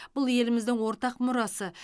бұл еліміздің ортақ мұрасы